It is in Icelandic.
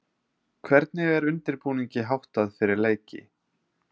Hvernig er undirbúningi háttað fyrir leiki?